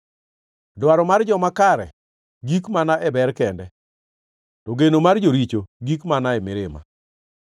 Dwaro mar joma kare gik mana e ber kende, to geno mar joricho gik mana e mirima.